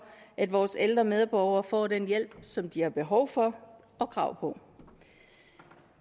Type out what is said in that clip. at vores ældre medborgere får den hjælp som de har behov for og krav på